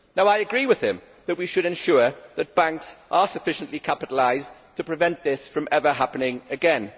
I agree with him that we should ensure that banks are sufficiently capitalised to present this from ever happening again.